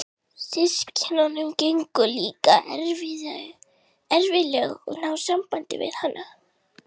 Systkinunum gengur líka erfiðlega að ná sambandi við hana.